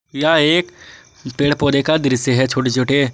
यह एक पेड़ पौधे का दृश्य है छोटे छोटे।